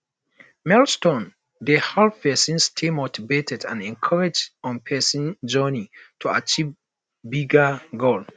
milestones dey help pesin stay motivated and encouraged on pesin journey to achieving bigger goals